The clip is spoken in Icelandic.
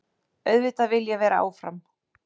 Auðvitað vil ég vera áfram.